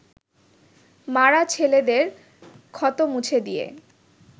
মা’রা ছেলেদের ক্ষত মুছে দিয়ে